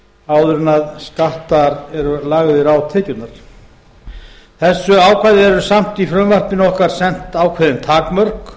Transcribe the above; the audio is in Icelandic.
áður en skattar eru lagðir á tekjurnar þessu ákvæði er samt í frumvarpinu okkar sett ákveðin takmörk